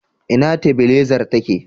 Ina tabilazar take?